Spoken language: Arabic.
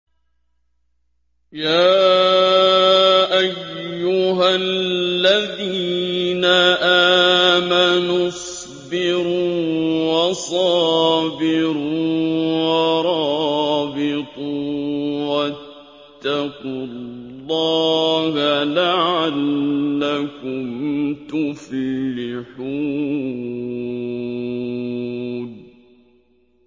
يَا أَيُّهَا الَّذِينَ آمَنُوا اصْبِرُوا وَصَابِرُوا وَرَابِطُوا وَاتَّقُوا اللَّهَ لَعَلَّكُمْ تُفْلِحُونَ